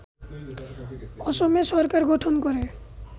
অসমে সরকার গঠন করে